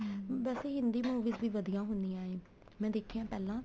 ਹਮ ਬੱਸ ਹਿੰਦੀ movies ਵੀ ਵਧੀਆ ਹੁੰਨੀਆ ਏ ਮੈਂ ਦੇਖੀਆਂ ਪਹਿਲਾਂ